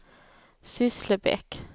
Sysslebäck